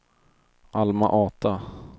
Alma-Ata